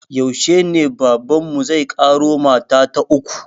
Yaushe ne baban mu zai ƙaro mata ta uku?